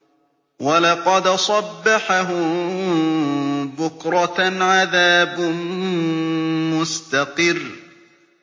وَلَقَدْ صَبَّحَهُم بُكْرَةً عَذَابٌ مُّسْتَقِرٌّ